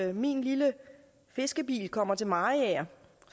når min lille fiskebil kommer til mariager